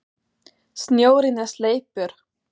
Snjórinn er sleipur!